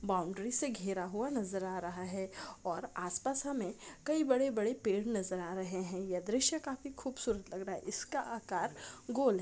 Boundary से घेरा हुआ नजर आ रहा है और आस-पास हमे कई बड़े-बड़े पेड़ नजर आ रहे है ये द्रश्या काफी खूबसूरत लग रहा है इसका आकार गोल है।